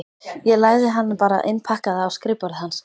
Ég lagði hana bara innpakkaða á skrifborðið hans.